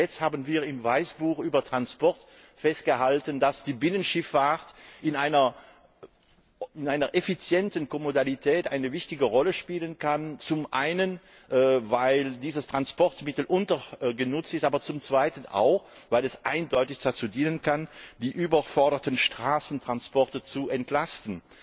Nicht zuletzt haben wir im Weißbuch über Transport festgehalten, dass die Binnenschifffahrt in einer effizienten Ko Modalität eine wichtige Rolle spielen kann, zum einen weil dieses Transportmittel untergenutzt ist, aber zum Zweiten auch weil es eindeutig dazu dienen kann, die überforderten Straßentransporte zu entlasten.